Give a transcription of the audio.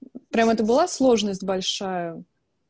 прямо это была сложность большая